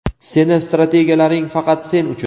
seni strategiyalaring faqat sen uchun.